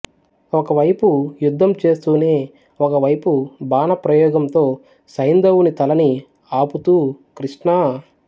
ఒక వైపు యుద్ధం చేస్తూనే ఒక వైపు బాణప్రయోగంతో సైంధవుని తలని ఆపుతూ కృష్ణా